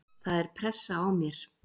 Það er pressa á mér.